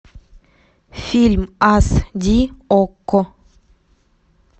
фильм ас ди окко